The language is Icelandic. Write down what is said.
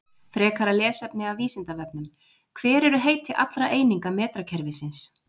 Frekara lesefni af Vísindavefnum: Hver eru heiti allra eininga metrakerfisins?